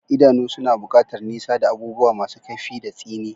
Idanu suna buƙatar nisa da abubuwa masu kaifi da tsini.